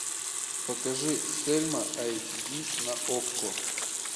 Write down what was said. покажи сельма айч ди на окко